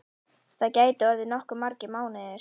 Það gætu orðið nokkuð margir mánuðir.